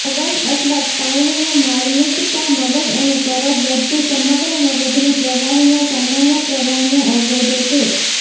મગજ અથવા સ્પાઇનના માર્મિકતા મગજ અને કરોડરજજુ સમગ્ર મગજની પ્રવાહીના સામાન્ય પ્રવાહને અવરોધે છે